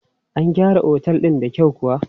An gyara Otel din da kyau kuwa?